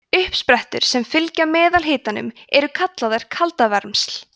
uppsprettur sem fylgja meðalhitanum eru kallaðar kaldavermsl